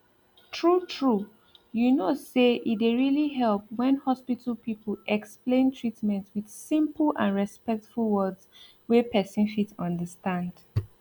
true true you know say e dey really help when hospital people explain treatment with simple and respectful words wey person fit understand